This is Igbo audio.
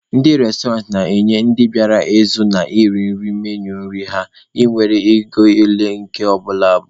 Ndị restọrantị na-enye ndị bịara ịzụ na iri nri menui nri ha nwere na ego ole nke ọbụla bụ.